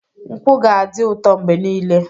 Nkwụ ga-adị ụtọ mgbe niile.